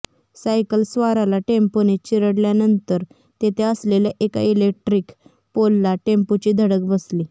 सायकलस्वाराला टेम्पोने चिरडल्यानंतर तेथे असलेल्या एका इलेक्ट्रिक पोलला टेम्पोची धडक बसली